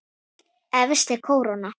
Efst er kóróna.